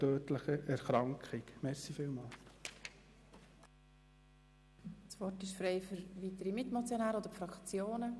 Das Wort haben die Mitmotionäre oder die Fraktionen.